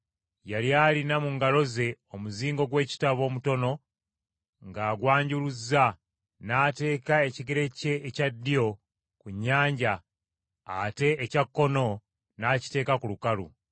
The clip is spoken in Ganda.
Yali alina mu ngalo ze omuzingo gw’ekitabo omutono ng’agwanjuluzza, n’ateeka ekigere kye ekya ddyo ku nnyanja ate ekya kkono n’akiteeka ku lukalu.